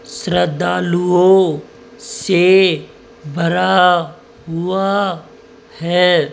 श्रद्धालुओं से भरा हुआ है।